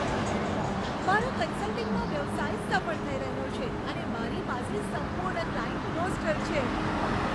મારો કન્સલ્ટિંગનો વ્યવસાય સફળ થઈ રહ્યો છે અને મારી પાસે સંપૂર્ણ ક્લાયન્ટ રોસ્ટર છે.